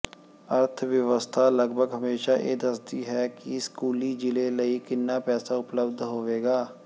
ਅਰਥ ਵਿਵਸਥਾ ਲਗਭਗ ਹਮੇਸ਼ਾਂ ਇਹ ਦੱਸਦੀ ਹੈ ਕਿ ਸਕੂਲੀ ਜ਼ਿਲ੍ਹੇ ਲਈ ਕਿੰਨਾ ਪੈਸਾ ਉਪਲਬਧ ਹੋਵੇਗਾ